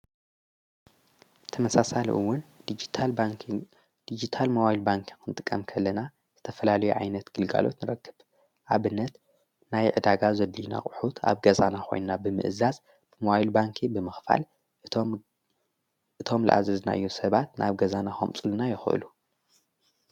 ተመሳሳሊእውን ዲጅታል ባንኪንግ ዲጂታል ሞዋይል ባንክ ኽንጥቀም ከለና ዝተፈላልየ ኣይነት ግልጋሎት ንረክብ ኣብነት ናይ ዕዳጋ ዘድልዩና አቕሑት ኣብ ገዛና ኾይንና ብምእዛዝ ብምዋይል ባንክ ብምኽፋል እቶም ለአዘዝናዮም ሰባት ናብ ገዛና ከምፁኡልና ይክእሉ።